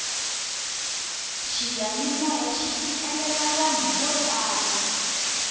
xiyanimoya xi fikelela vanhu vo tala